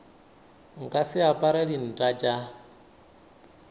nka se apare dinta tša